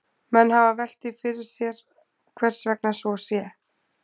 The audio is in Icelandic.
Menn hafa velt því fyrir sér hvers vegna svo sé.